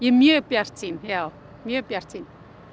mjög bjartsýn já mjög bjartsýn